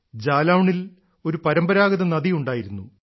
ജാലൌണിൽ ഒരു പരമ്പരാഗത നദിയുണ്ടായിരുന്നു